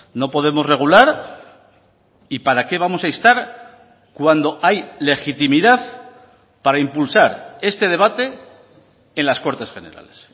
no podemos regular y para qué vamos a instar cuando hay legitimidad para impulsar este debate en las cortes generales